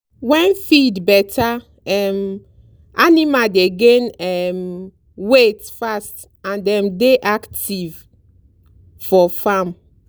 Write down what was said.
when feed better um animal dey gain um weight fast and dem dey active for farm.